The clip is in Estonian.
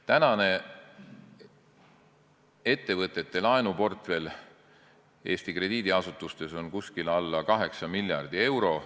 Tänane ettevõtete laenuportfell Eesti krediidiasutustes on alla 8 miljardi euro.